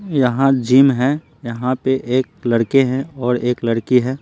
यहाँ जिम है यहाँ पे एक लड़के हैं और एक लड़की है।